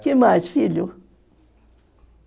Que mais, filho?